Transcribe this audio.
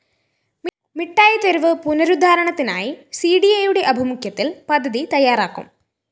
മിഠായിത്തെരുവ് പുനരുദ്ധാരണത്തിനായി സിഡിഎയുടെ ആഭിമുഖ്യത്തില്‍ പദ്ധതി തയ്യാറാക്കും